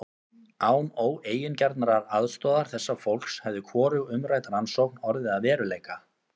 Án óeigingjarnrar aðstoðar þessa fólks hefði hvorug umrædd rannsókn orðið að veruleika.